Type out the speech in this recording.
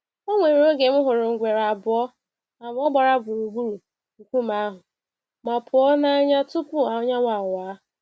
Onwere oge m hụrụ ngwere abụọ abụọ gbaea gburugburu nkume ahụ, ma pụọ n'anya tupu anyanwụ awa.